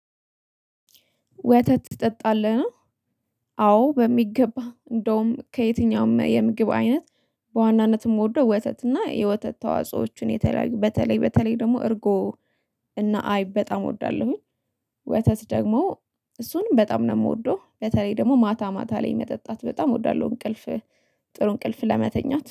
ወተት ትጠጣለህ ነው? አዎ በሚገባ እንደውም ከየትኛውም የምግብ አይነት በዋናነት እምወደው ወተት እና የወተት ተዋጽኦ የተለየ በተለይ በተለይ ደግሞ እርጎ እና አይብ በጣም እወዳለሁኝ። ወተት ደግሞ እሱንም በጣም ነው ምወደው በተለይ ደግሞ ማታ ማታ ላይ መጠጣት በጣም እወዳለሁ። እንቅልፍ ጥሩ እንቅልፍ ለመተኛት